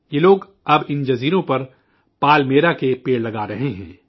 یہ لوگ اب ان جزائر پر پالمیرا کے درخت لگا رہے ہیں